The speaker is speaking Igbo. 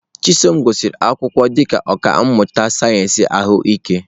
Chisom gụsịrị akwụkwọ dị ka ọkà mmụta sayensị ahụike.